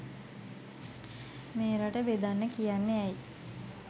මේ රට බෙදන්න කියන්නේ ඇයි